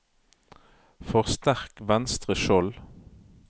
forsterk venstre skjold